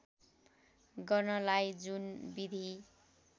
गर्नलाई जुन विधि